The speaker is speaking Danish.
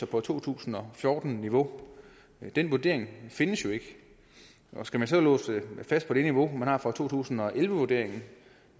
på to tusind og fjorten niveau men den vurdering findes jo ikke skal man så låse den fast på det niveau man har for to tusind og elleve vurderingen